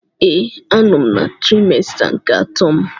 Ee, a nọ m na trimester nke atọ m.